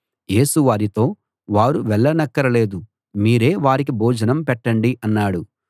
యేసు వారితో వారు వెళ్ళనక్కర లేదు మీరే వారికి భోజనం పెట్టండి అన్నాడు